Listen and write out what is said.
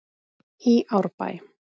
í Árbæ.